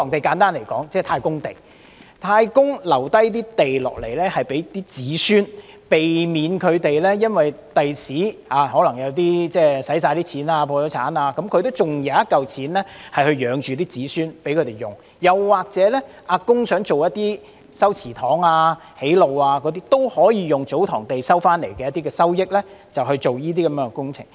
簡單而言，祖堂地即太公地，是太公遺留給子孫的土地，即使子孫日後可能花光了錢、破產，他還有一筆錢養活子孫，供他們使用；又或當"阿公"想修葺祠堂或築路時，也可以使用從祖堂地收取所得的收益進行這些工程。